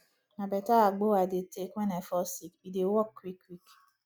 na beta agbo i dey take wen i fall sick e dey work quick quick